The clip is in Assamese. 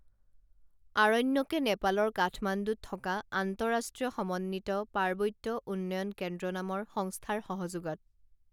আৰণ্যকে নেপালৰ কাঠমাণ্ডুত থকা আন্তৰাষ্ট্ৰীয় সমন্বিত পাৰ্বত্য উন্নয়ন কেন্দ্ৰ নামৰ সংস্থাৰ সহযোগত